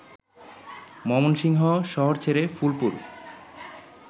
ময়মনসিংহ শহর ছেড়ে ফুলপুর